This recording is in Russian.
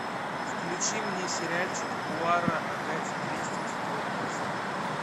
включи мне сериальчик пуаро агаты кристи четвертая серия